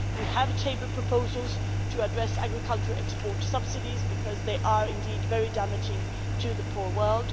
We have tabled proposals to address agricultural export subsidies because they are indeed very damaging to the poor world.